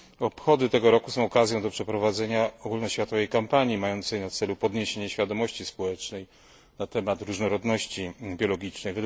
Obchody tego roku są okazją do przeprowadzenia ogólnoświatowej kampanii mającej na celu podniesienie świadomości społecznej na temat różnorodności biologicznej.